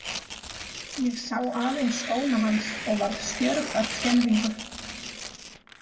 Ég sá aðeins skóna hans og varð stjörf af skelfingu.